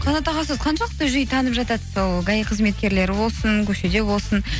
қанат аға сізді қаншалықты жиі танып жатады сол гаи қызметкерлері болсын көшеде болсын